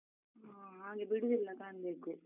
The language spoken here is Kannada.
ಹಾ, ಹಾಗೆ ಬಿಡುದಿಲ್ಲ ಕಾಣ್ಬೇಕು.